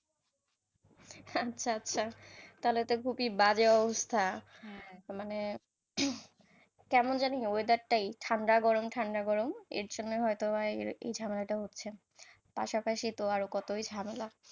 আচ্ছা আচ্ছা তাহলে তো খুবই বাজে অবস্থা, মানে, কেমন জানি weather টাই ঠাণ্ডা গরম ঠাণ্ডা গরম এর জন্যেই বা হয়ত এই ঝামেলাটা হচ্ছে, পাশাপাশি ত আর কতই ঝামেলা,